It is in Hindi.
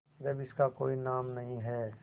जब इसका कोई नाम नहीं है